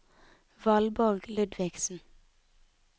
Valborg Ludvigsen